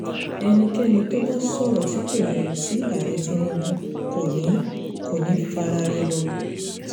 ẹnikẹ́ni tó bá sọ̀rọ̀ tí kò yẹ sí ààrẹ tinubu kò ní kò ní í faraà rẹ̀ lọ